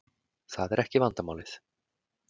Það er ekki vandamálið.